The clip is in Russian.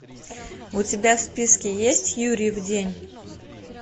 у тебя в списке есть юрьев день